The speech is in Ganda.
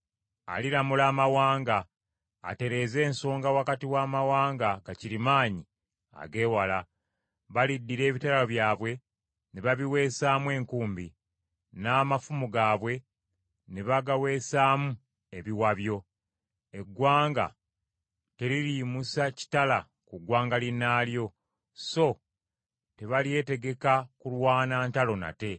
Aliramula amawanga atereeze ensonga wakati w’amawanga gakirimaanyi ag’ewala. Baliddira ebitala byabwe ne babiweesaamu enkumbi, n’amafumu gaabwe ne bagaweesaamu ebiwabyo. Eggwanga teririyimusa kitala ku ggwanga linnaalyo, so tebalyetegeka kulwana ntalo nate.